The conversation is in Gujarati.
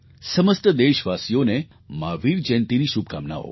સમસ્ત દેશવાસીઓને મહાવીર જયંતીની શુભકામનાઓ